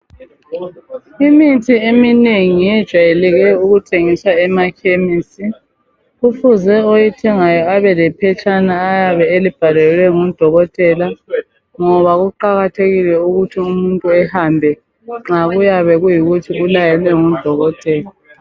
Imithi eminengi ejwayeleke ukuthengiswa emakhemisi kufuze oyithengayo abe lephetshana ayabe elibhalelwe ngudokotela ngoba kuqakathekile ukuthi umuntu ehambe nxa kuyabe kuyikuthi ulayelwe ngudokotela.